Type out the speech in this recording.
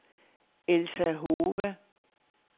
Elsa Hove